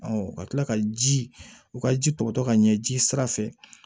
ka kila ka ji u ka ji tɔ ka ɲɛ ji sira fɛ